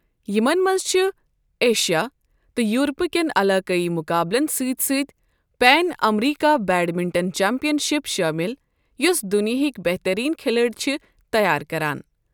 یِمَن منٛز چھِ ایشیا تہٕ یوٗرپہٕ کٮ۪ن علاقٲیی مقابٕلَن سۭتۍ سۭتۍ پین امریکہِ بیڈمنٹن چیمپئن شپ شٲمِل یوٚس دُنیاہِکۍ بہترین کھلٲڑۍ چھِ تیار کران۔